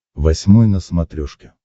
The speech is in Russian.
восьмой на смотрешке